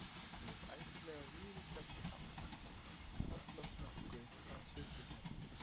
Ég hef ævinlega viðurkenndi hann, hallast nokkuð að sundurgerð